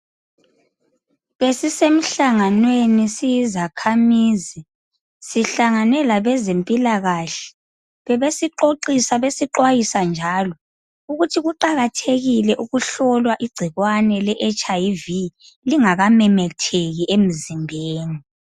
Besisemhlanganweni siyizakhamizi. Sihlangane labezempilakahle. Bebesixoxisa, besixwayisa njalo, ukuthi kuqakathekile ukuhlolwa igcikwane. leHIV. Lingakamemetheki emzimbeni.